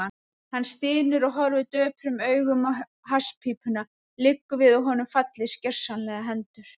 Hann stynur og horfir döprum augum á hasspípuna, liggur við að honum fallist gersamlega hendur.